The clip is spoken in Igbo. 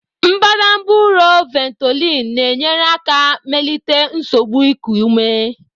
Mbadamba ụrọ Ventolin na-enyere aka melite nsogbu iku ume.